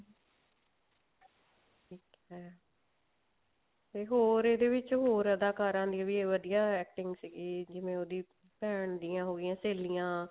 ਤੇ ਹੋਰ ਇਹਦੇ ਵਿੱਚ ਹੋਰ ਅਦਾਕਾਰਾਂ ਨੇ ਵੀ ਵਧੀਆ acting ਸੀਗੀ ਜਿਵੇਂ ਉਹਦੀ ਭੇਨ ਦੀਆਂ ਹੋਗੀਆਂ ਸਹੇਲੀਆਂ